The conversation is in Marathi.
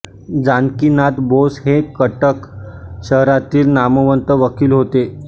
जानकीनाथ बोस हे कटक शहरातील नामवंत वकील होते